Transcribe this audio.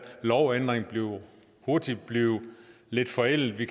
lovændring hurtigt blive lidt forældet vi